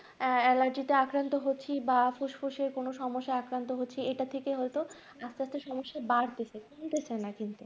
allergy টা আক্রান্ত হচ্ছে বা ফুসফুসের কোন সমস্যা আক্রান্ত হচ্ছে। এটা থেকে হচ্ছে এটা থেকে হয়তো। এক করতে সমস্যা বাড়তেছে। কমতেছে না কিন্তু।